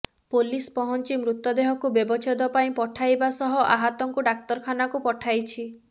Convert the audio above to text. police ପହଂଚି ମୃତଦେହକୁ ବ୍ୟବଚ୍ଛେଦ ପାଇଁ ପଠାଇବା ସହ ଆହତଙ୍କୁ ଡାକ୍ତର ଖାନାକୁ ପଠାଇଛି